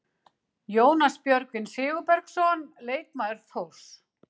Jónas Björgvin Sigurbergsson, leikmaður Þórs.